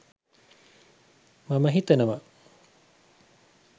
මම හිතනවා.